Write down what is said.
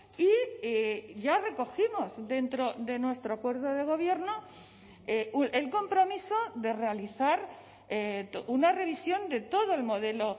y ya recogimos dentro de nuestro acuerdo de gobierno el compromiso de realizar una revisión de todo el modelo